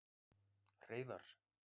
Hreiðar